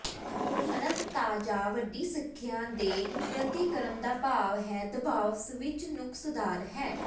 ਅਨੰਤਤਾ ਜਾਂ ਵੱਡੀ ਸੰਖਿਆ ਦੇ ਪ੍ਰਤੀਕਰਮ ਦਾ ਭਾਵ ਹੈ ਦਬਾਅ ਸਵਿੱਚ ਨੁਕਸਦਾਰ ਹੈ